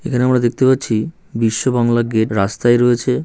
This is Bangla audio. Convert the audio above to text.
এখানে আমরা দেখতে পাচ্ছি বিশ্ব বাংলা গেট রাস্তায় রয়েছে--